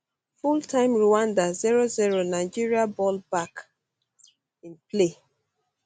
fulltime rwanda 00 nigeria ball back um in play